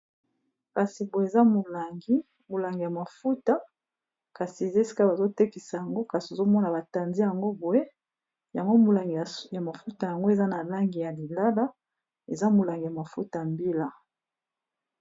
Kasi poye eza molangi molangi ya mafuta kasi ezesika bazotekisa yango kasi ozomona batanzi yango boye yango molangi ya mafuta yango eza na langi ya lilala eza molangi ya mafuta mbila